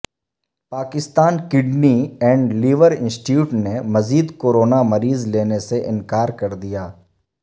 Pakistan kidney and liver institute نے مزید corona مریض لینے سے انکار کر دیا